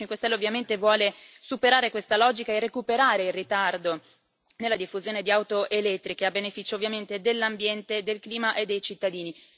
Il Movimento 5 Stelle ovviamente vuole superare questa logica e recuperare il ritardo nella diffusione di auto elettriche, a beneficio ovviamente dell'ambiente, del clima e dei cittadini.